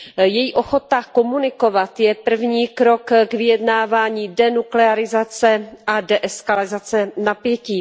Její ochota komunikovat je první krok k vyjednávání denuklearizace a deeskalace napětí.